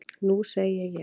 Nú segi ég.